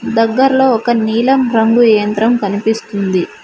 దగ్గర్లో ఒక నీలం రంగు యంత్రం కనిపిస్తుంది.